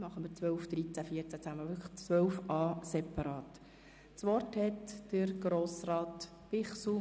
Anschliessend folgen die Themenblöcke 12, 13 und 14.